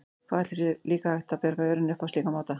Hvað ætli sé líka hægt að bjarga jörðinni upp á slíkan máta?